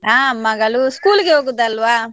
ಆ ಮಗಳು school ಇಗೆ ಹೋಗುದು ಅಲ್ವಾ.